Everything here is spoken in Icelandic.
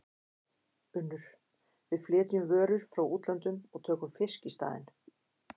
UNNUR: Við flytjum vörur frá útlöndum og tökum fisk í staðinn.